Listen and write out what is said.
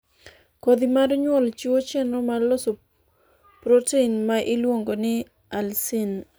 kodhi mar nyuol chiwo chenro mar loso prothein ma iluongo ni alsin